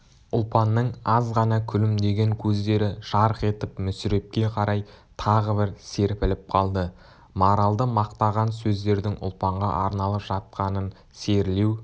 ұлпанның аз ғана күлімдеген көздері жарқ етіп мүсірепке қарай тағы бір серпіліп қалды маралды мақтаған сөздердің ұлпанға арналып жатқанын серілеу